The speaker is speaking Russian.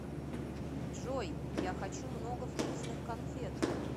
джой я хочу много вкусных конфет